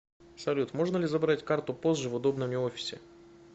салют можно ли забрать карту позже в удобном мне офисе